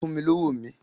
Fún mi lówó mi!